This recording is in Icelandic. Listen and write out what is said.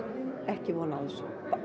ekki von á þessu